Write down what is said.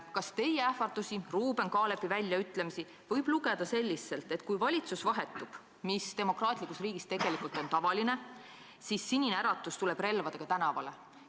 " Kas teie ähvardusi ja Ruuben Kaalepi väljaütlemisi võib tõlgendada selliselt, et kui valitsus vahetub – mis demokraatlikus riigis tegelikult on tavaline –, siis Sinine Äratus tuleb relvadega tänavale?